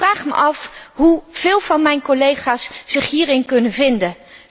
Ik vraag mij af hoeveel van mijn collega's zich hierin kunnen vinden.